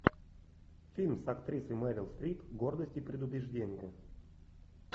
фильм с актрисой мэрил стрип гордость и предубеждение